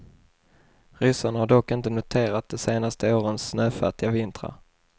Ryssarna har dock inte noterat de senaste årens snöfattiga vintrar.